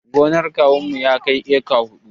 Gonar kawunmu girmanta ya kai eka huɗu